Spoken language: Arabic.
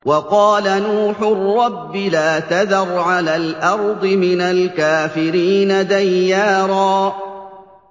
وَقَالَ نُوحٌ رَّبِّ لَا تَذَرْ عَلَى الْأَرْضِ مِنَ الْكَافِرِينَ دَيَّارًا